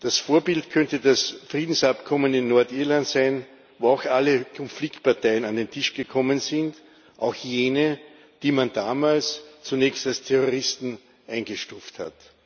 Das Vorbild könnte das Friedensabkommen in Nordirland sein, wo auch alle Konfliktparteien an den Tisch gekommen sind, auch jene, die man damals zunächst als Terroristen eingestuft hat.